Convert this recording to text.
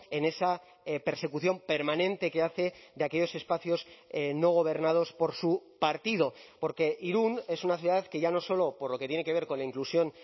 en esa persecución permanente que hace de aquellos espacios no gobernados por su partido porque irún es una ciudad que ya no solo por lo que tiene que ver con la inclusión